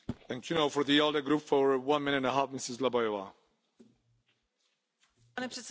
Pane předsedající, dovolte mi i krátkou reakci týkají se účetní závěrky výdajů Evropské komise.